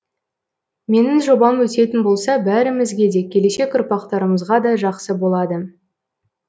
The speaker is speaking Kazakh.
менің жобам өтетін болса бәрімізге де келешек ұрпақтарымызға да жақсы болады